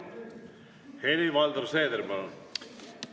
Helir-Valdor Seeder, palun!